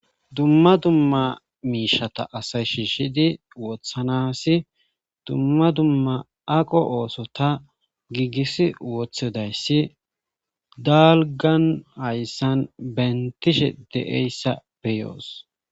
dumma dumma miishata asay shiishidi wothanasi dumma dumma aqo ooso ta giigis wothodayssi dalgan hayssan bentishe deeyssa beyoos